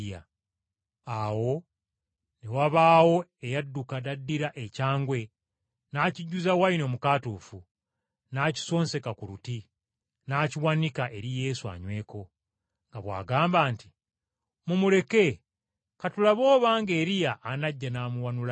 Awo ne wabaawo eyadduka n’addira ekyangwe n’akijjuza wayini omukaatuufu, n’akisonseka ku luti, n’akiwanika eri Yesu anyweko, nga bw’agamba nti, “Mumuleke, ka tulabe obanga Eriya anajja n’amuwannulayo!”